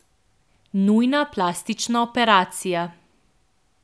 Nujna plastična operacija.